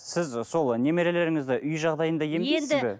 сіз сол немерелеріңізді үй жағдайында емдейсіз бе